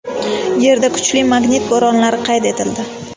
Yerda kuchli magnit bo‘ronlari qayd etildi.